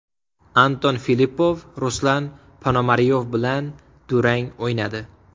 Anton Filippov Ruslan Ponomaryov bilan durang o‘ynadi.